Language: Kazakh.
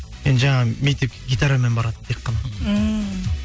енді жаңағы мектепке гитарамен баратынмын тек қана ммм